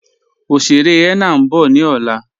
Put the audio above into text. Oṣèrè henna n bọ̀ ni ọlá